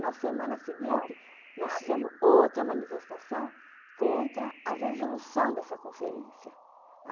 Na semana seguinte, nós fizemos outra manifestação contra a resolução dessa conferência.